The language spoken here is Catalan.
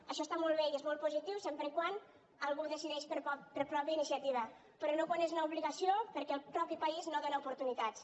això està molt bé i és molt positiu sempre que algú ho decideix per pròpia iniciativa però no quan és una obligació perquè el mateix país no dóna oportunitats